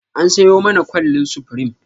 An sayo mana kwallin supreme.